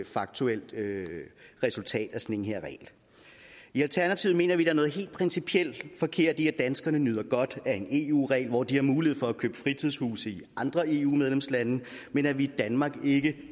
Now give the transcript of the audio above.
faktuelt resultat af den her regel i alternativet mener vi at noget helt principielt forkert i at danskerne nyder godt af en eu regel hvor de har mulighed for at købe fritidshuse i andre eu medlemslande men at vi i danmark ikke